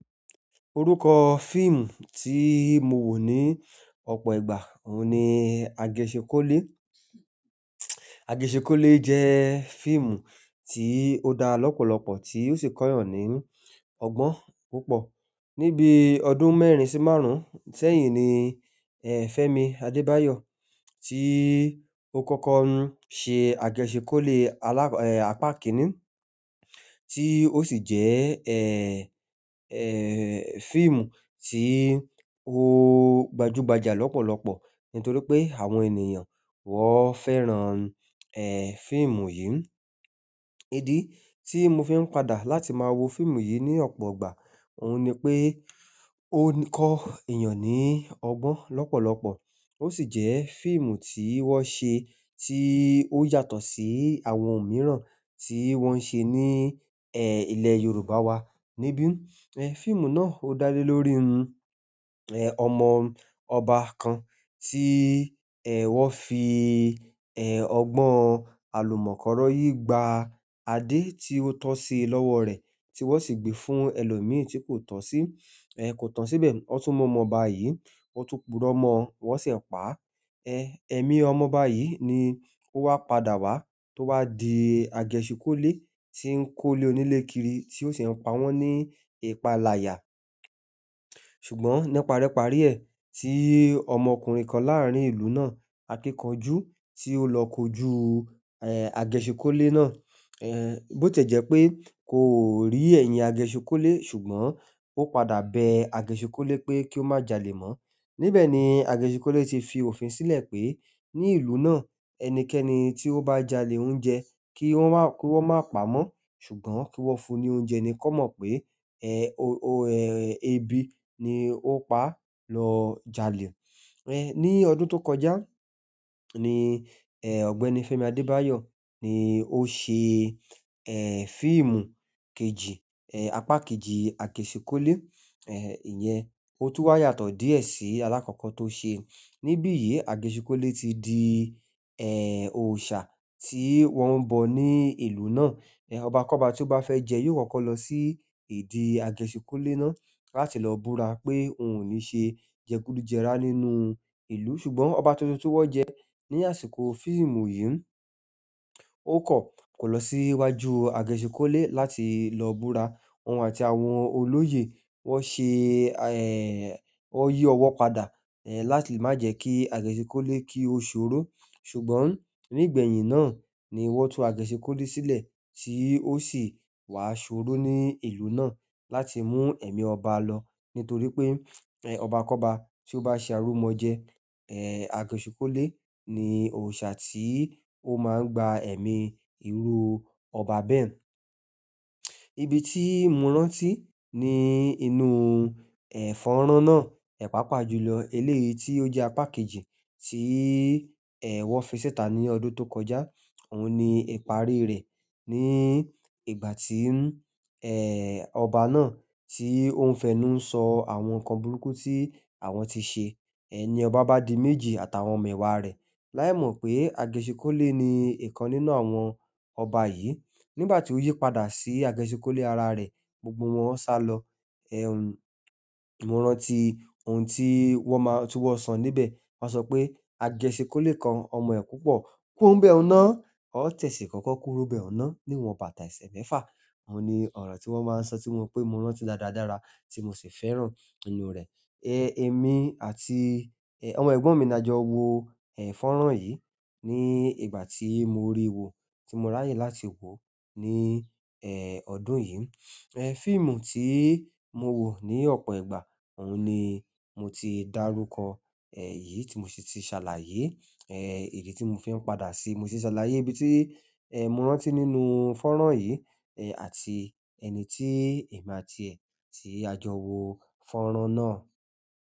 Orúkọ fíìmù tí mo wò ní ọ̀pọ̀ ìgbà òun ni Àgèṣhinkólé. Àgèṣhinkólé jẹ́ fíìmù tí ó dá lọ́pọ̀lọ́pọ̀ tí ó sì kọ́yàn ní ọgbọ́n púpọ̀. Ní bí ọdún mẹ́rin sí márùn sẹ́yìn ni Femi Adebayo ti o kọkọ ṣe agẹ̀shinkole apá kínní tí ó sì jẹ́, eh, eh, fíìmù tí ó gbajúgbajà lọ́pọ̀lọ́pọ̀ nítorí pé àwọn ènìyàn wọ́n fẹ́ran, eh, fíìmù yìí. Ìdí tí mo fi ń padà láti máa wo fíìmù yìí ní ọ̀pọ̀ ìgbà òun ni pé ó ń kọ́ èèyàn ní ọgbọ́n lọ́pọ̀lọ́pọ̀. Ó sì jẹ́ fíìmù tí wọ́n ṣe tí ó yàtọ̀ sí àwọn mìíràn tí wọ́n ń ṣe ní, eh, ilẹ̀ Yorùbá wa. E biun ẹ̀ fíìmù na o da le lórí ẹ̀ ọmọ ọba kàn ti è wọn fi ọgbọn alumọ́kọrọ́yi gbà adé ti o tosí lọwọ rẹ tí wọn si gbé fún ẹlomi tí kò tọ sí ẹ̀ ko tán sí bẹ. Ọ́ tún mọ̀ mọ̀ọ́ba yìí, wọn tún purọ́ mọ̀ọ́, wọ́n sì pa á. Eh, ẹ̀mí ọmọ ọba yìí ni ó wá padà wá tó wá di Àgèṣhinkólé tí ń kó lé onílé kiri tí ó sì ń pa wọ́n ní ìpalaya. Ṣùgbọ́n nípa rẹ́ pàrí ẹ̀, tí ọmọkùnrin kan láàrín ìlú náà, akíkanjú tí ó lọ kojú, eh, Àgèṣhinkólé náà, eh, bó tẹ̀jẹ́ pé kò rí ẹ̀yìn Àgèṣhinkólé ṣùgbọ́n ó padà bẹ Àgèṣikólé pé kí ó má jalè mọ́. Ni bẹ̀ ni Àgèṣikólé ti fi òfin sílẹ̀ pé ní ìlú náà ẹnikẹ́ni tí ó bá jalè oúnjẹ kí wọ́n má, kí wọ́n má pa mọ́ ṣùgbọ́n kí wọ́n fún un ní oúnjẹ ni kan mọ̀ pé, eh, o, o, eh, ebi ni ó pa á lọ jalè. Eh, ní ọdún tó kọjá ni, eh, Ọ̀gbẹ́ni Fẹ́mi Adébáyọ̀ ni ó ṣe, eh, fíìmù kejì, eh, apá kejì Àgèṣhinkólé, eh, ìyẹn ó tú wá yàtọ̀ díẹ̀ sí alákọ̀ọ́kọ́ tó ṣe. Ni bí yìí Àgèṣikólé ti di, eh, òòṣà tí wọ́n ń bọ̀ ní ìlú náà. Eh, ọba kọ́ba tí ó bá fẹ́ jẹ yóò kọ́kọ́ lọ sí ìdí Àgèṣhinkólé náà láti lọ búra pé òun ò ní ṣe jẹkúdùjẹrá nínú ìlú. Ṣùgbọ́n ọba tuntun tí wọ́n jẹ ní àsìkò fíìmù yìí, ó kọ̀, kò lọ sí iwájú Àgèṣhinkólé láti lọ búra. Òun àti àwọn olóyè wọ́n ṣe, eh, wọ́n yí ọwọ́ padà, eh, láti má jẹ́ kí Àgèṣhinkólé kí ó ṣòro. Ṣùgbọ́n nígbẹ̀yìn náà ni wọ́n tú Àgèṣhinkólé sílẹ̀ tí ó sì wá ṣòro ní ìlú náà láti mú ẹ̀mí ọba lọ nítorí pé, eh, ọba kọ́ba tí ó bá ṣe àrù mọ́ jẹ, eh, Àgèṣhinkólé ni òòṣà tí ó má ń gba ẹ̀mí irú ọba bẹ́ẹ̀. Ibi tí mo rántí ni inú, eh, fọ́nrán náà, ẹ̀ pà pà jùlọ eléyi tí ó jẹ́ apá kejì tí, eh, wọ́n fi sẹ́ta ní ọdún tó kọjá òun ni ìparí rẹ̀ ní ìgbà tí, eh, ọba náà tí ó ń fẹ́nú ń sọ àwọn nǹkan burúkú tí àwọn tí ṣe. Ẹni ọba bá di méjì àtàwọn ọmọ ìwà rẹ̀. Láì mọ̀ pé Àgèṣhinkólé ni ìkan nínú àwọn ọba yìí. Ni ìgbà tí ó yípadà sí Àgèṣhinkólé ara rẹ̀ gbogbo wọn sá lọ. Eh, mo rántí ohun tí wọ́n máa-- tí wọ́n sọ níbẹ̀. Wọ́n sọ pé Àgèṣhinkólé kan ọmọ ẹ̀ púpọ̀, kúrò bẹ òun náà, ó tẹ̀sí kọ́kọ́ kúrò bẹ́ òun náà níwọ̀n bàtà ẹsẹ mẹfà. Ó ni ọ̀rọ̀ tí wọ́n máa ń sọ tí mo pé mo rántí dáadáa dára tí mo sì fẹ́ràn inú rẹ̀. Eh, èmi àti, eh, àwọn ẹ̀gbọ́n mi ni a jọ wo, eh, fọ́nrán yìí ní ìgbà tí mo rí wo tí mo ráyè láti wò ó ní, eh, ọdún yìí. Eh, fíìmù tí mo wò ní ọ̀pọ̀ ìgbà òun ni mo ti dárúkọ, eh, yìí tí mo sì ti ṣàlàyé. Ẹ̀ ìdí tí mo fí n padà si mo fi ṣàlàyé ibí ti ẹ mo rántí nínú fónrán yí ẹ̀ àti ẹni ti èmi àti ẹ̀ ti a jọ wò fónrán nà.